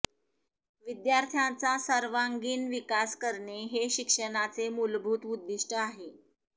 विद्यार्थ्याचा सर्वांगीण विकास करणे हे शिक्षणाचे मूलभूत उद्दिष्ट आहे